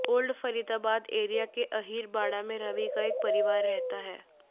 old Faridabad area के अहीर बाड़ा में रवि का परिवार रहता है